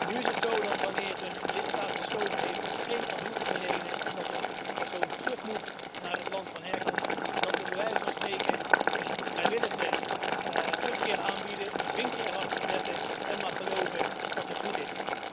Nu is het zo dat, wanneer een lidstaat besloten heeft om geen asiel te verlenen en dat een persoon terug moet naar het land van herkomst, we bij wijze van spreken een vrijwillige terugkeer aanbieden, een vinkje erachter zetten en maar geloven dat het goed is.